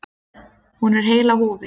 Hún er heil á húfi.